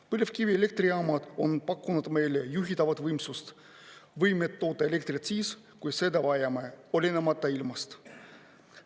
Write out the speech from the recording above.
Põlevkivielektrijaamad on pakkunud meile juhitavat võimsust, võimet toota elektrit siis, kui seda vajame, olenemata ilmast.